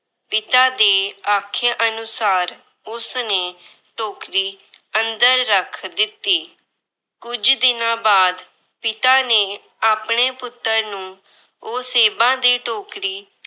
ਪਿਤਾ ਦੇ ਆਖੇ ਅਨੁਸਾਰ ਉਸਨੇ ਟੋਕਰੀ ਅੰਦਰ ਰੱਖ ਦਿੱਤੀ। ਕੁਝ ਦਿਨਾਂ ਬਾਅਦ ਪਿਤਾ ਨੇ ਆਪਣੇ ਪੁੱਤਰ ਨੂੰ ਉਹ ਸੇਬਾਂ ਦੀ ਟੋਕਰੀ